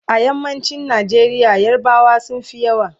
a yammacin Nigeria yarbawa sunfi yawa